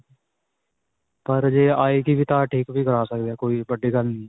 ਪਰ ਜੇ ਆਏਗੀ ਵੀ ਤਾਂ ਠੀਕ ਵੀ ਕਰਵਾ ਸਕਦੇ ਹਾਂ ਕੋਈ ਵੱਡੀ ਗੱਲ ਨਹੀਂ.